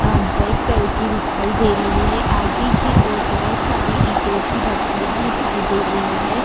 अम्म colour की दिखाई दे रही है। आगे कि ओर बोहोत सारी ईटो की भट्टियां दिखाई दे रही हैं।